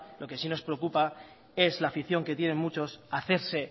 lo que sí nos preocupa es la afición que tienen muchos a hacerse